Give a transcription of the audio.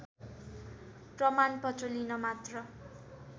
प्रमाणपत्र लिन मात्र